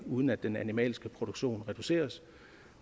uden at den animalske produktion reduceres